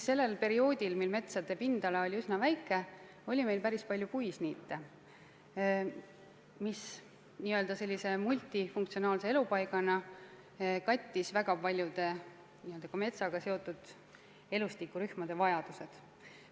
Perioodil, kui metsade pindala oli üsna väike, oli meil päris palju puisniite, mis multifunktsionaalsete elupaikadena katsid väga paljude metsaga seotud elustikurühmade vajadused.